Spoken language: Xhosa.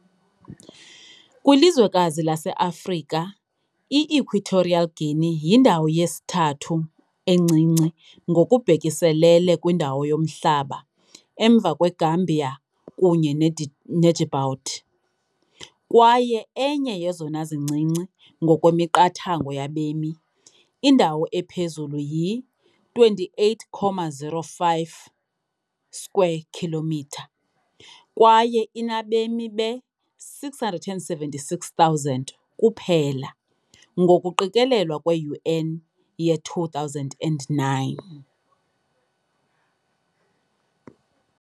Kwilizwekazi lase-Afrika, i-Equatorial Guinea yindawo yesithathu encinci ngokubhekiselele kwindawo yomhlaba, emva kweGambia kunye ne-Djibouti, kwaye enye yezona zincinci ngokwemiqathango yabemi - indawo ephezulu yi-28,051 square kilometre, kwaye inabemi be-676,000 kuphela ngokuqikelelwa kwe-UN ye-2009.